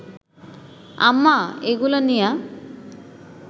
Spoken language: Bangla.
আম্মা এইগুলা নিয়া